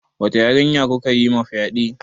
Wata yarinya kuka yima fyaɗe?